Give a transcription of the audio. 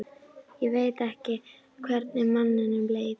Ég veit ekki hvernig manninum leið.